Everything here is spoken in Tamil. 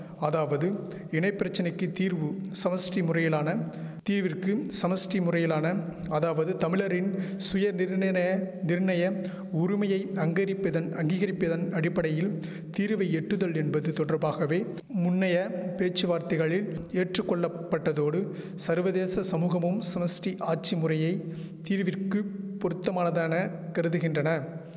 அதாவது இனைப்பிரச்சனைக்கி தீர்வு சமஷ்டி முறையிலான தீவிற்கு சமஷ்டி முறையிலான அதாவது தமிழரின் சுயநிர்ணன சுயநிர்ணய உருமையை அங்கரிப்பதன் அங்கீகரிப்பெதன் அடிப்படையில் தீர்வை எட்டுதல் என்பது தொடர்பாகவே முன்னைய பேச்சுவார்த்தைகளில் ஏற்றுக்கொள்ளப்பட்டதோடு சர்வதேச சமூகமும் சமஷ்டி ஆட்சி முறையையே தீர்விற்குப் பொருத்தமானதான கருதுகின்றன